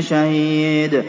شَهِيدٌ